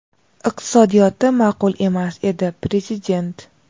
Iqtisodiyoti maʼqul emas edi — Prezident.